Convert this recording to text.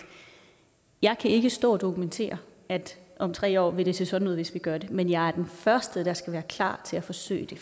jeg kan ikke stå og dokumentere at om tre år vil det se sådan ud hvis vi gør det men jeg er den første der skal være klar til at forsøge det